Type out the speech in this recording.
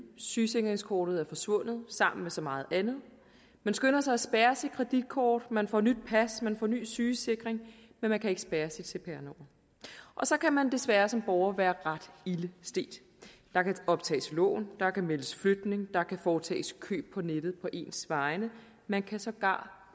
sygesikringskortet er forsvundet sammen med så meget andet man skynder sig at spærre sit kreditkort man får nyt pas og ny sygesikring men man kan ikke spærre sit cpr nummer og så kan man desværre som borger være ret ilde stedt der kan optages lån der kan meldes flytning der kan foretages køb på nettet på ens vegne og man kan sågar